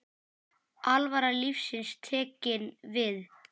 Alvara lífsins tekin við.